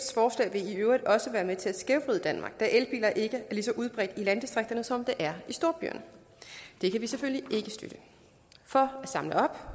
vil i øvrigt også være med til at skævvride danmark da elbiler ikke er lige så udbredte i landdistrikterne som de er i storbyerne og det kan vi selvfølgelig ikke støtte for at samle op